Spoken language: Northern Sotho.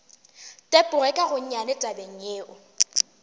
tepoge ka gonnyane tabeng yeo